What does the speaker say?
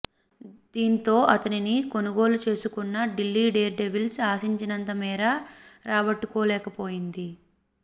దీంతో అతనిని కొనుగోలు చేసుకున్న ఢిల్లీ డేర్డెవిల్స్ ఆశించినంత మేర రాబట్టుకోలేకపోయింది